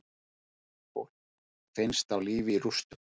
Fólk finnst á lífi í rústum